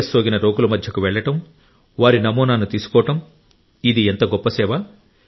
virus సోకిన రోగుల మధ్యకు వెళ్లడం వారి నమూనాను తీసుకోవడం ఇది ఎంత గొప్ప సేవ